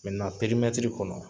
perimɛtiri kɔnɔ